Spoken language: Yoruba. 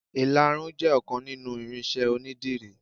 Ìlarun jẹ ọkan nínú irinṣẹ́ onidírì.